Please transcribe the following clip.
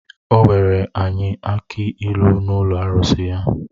O nwere anyị akị ịlu n’ụlọ arụsị ya